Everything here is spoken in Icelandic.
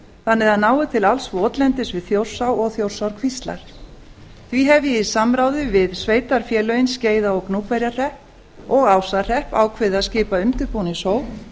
þannig að það nái til alls votlendis við þjórsá og þjórsárkvíslar því hef ég í samráði við sveitarfélögin skeiða og gnúpverjahrepp og ásahrepp ákveðið að skipa undirbúningshóp